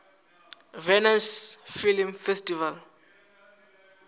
venice film festival